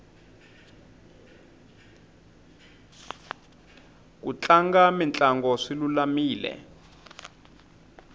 ku tlanga mitlango swi lulamile